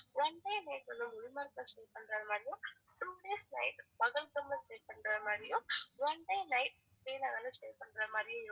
one day night வந்து உங்களுக்கு குல்மார்க்ல stay பண்றது மாதிரியும் two days night பகல்காம்ல stay பண்றது மாதிரியும் one day night ஸ்ரீநகர்ல stay பண்றது மாதிரியும் இருக்கும்